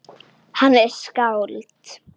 Hann er skáld.